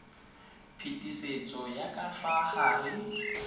phetisetso ya ka fa gare